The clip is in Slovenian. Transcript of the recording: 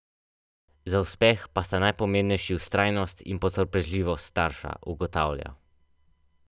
Za uspeh pa sta najpomembnejši vztrajnost in potrpežljivost starša, ugotavlja.